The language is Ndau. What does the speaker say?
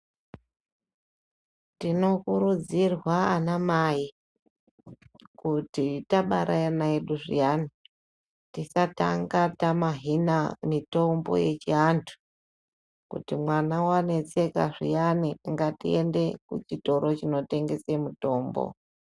Tinokurudzirwa ana mai kuti tabare ana edu zviyani tisatanga tamayina mitombo yechiantu kuti mwana waneseka zviani ngatiende kuchitoro chinotengese mutombo.